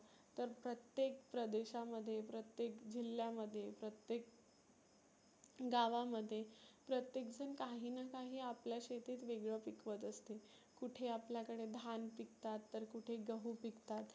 तर प्रत्येक प्रदेशामध्ये, प्रत्येक जिल्ह्यामध्ये, प्रत्येक गावामध्ये प्रत्येकजन काहीना काही आपल्या शेतीत वेगळ पिकवत असते. कुठे आपल्याकडे धान पिकतात, तर कुठे गहु पिकतात.